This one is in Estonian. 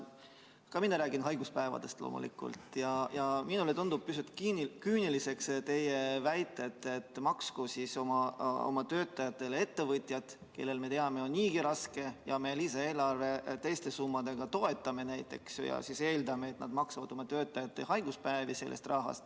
Ka mina räägin loomulikult haiguspäevadest ja minule tundub pisut küüniline see teie väide, et maksku siis oma töötajatele ettevõtjad, kellel, me teame, on niigi raske ja keda me lisaeelarve teiste summadega toetame ja eeldame, et nad maksavad sellest rahast oma töötajate haiguspäevi.